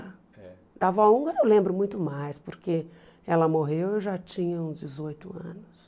Da avó húngara eu lembro muito mais, porque ela morreu e eu já tinha uns dezoito anos.